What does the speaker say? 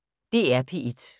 DR P1